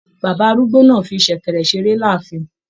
Bàbá arúgbó náà fí sẹ̀kẹ̀rẹ̀ seré láàfin.